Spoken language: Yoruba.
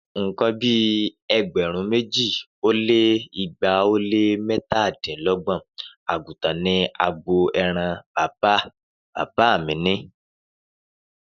Nǹkan bí ẹgbẹ̀rún méjì ó lé igba ó lé mẹ́tàdínlọ́gbọ̀n àgùntàn ni agbo ẹran bàbá bàbá mi ní